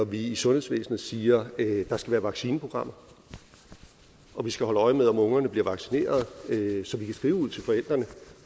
vi i sundhedsvæsenet siger at der skal være vaccineprogrammer og vi skal holde øje med om ungerne bliver vaccineret så vi skrive ud til forældrene